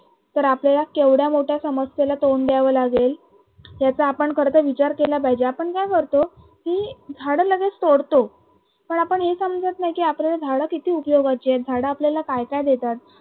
तर आपल्याला केवढ्या मोठ्या समस्येला तोंड द्यावे लागेल याचा आपण खर तर विचार केला पाहिजे. आपण काय करतो किमान की झाडं लगेच तोडतो, पण आपण हे समजत नाही की झाडं किती उपयोगाचे आहेत झाडं आपल्याला काय काय देतात